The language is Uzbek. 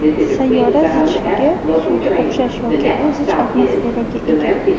Sayyora zichligi suvga o‘xshash yoki u zich atmosferaga ega.